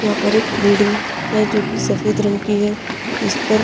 यहाँ पर एक बिल्डिंग है जो कि सफेद रंग की है जिस पर --